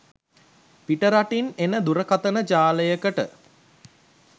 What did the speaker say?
පිටරටින් එන දුරකතන ජාලයකට